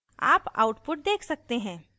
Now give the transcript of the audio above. आप output देख सकते हैं